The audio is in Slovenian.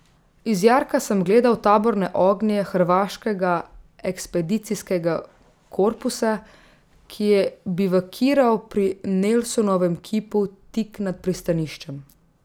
Iz jarka sem gledal taborne ognje hrvaškega ekspedicijskega korpusa, ki je bivakiral pri Nelsonovem kipu tik nad pristaniščem.